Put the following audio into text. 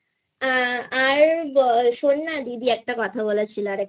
হ্যাঁ আর বল শোন না যদি একটা কথা বলার ছিল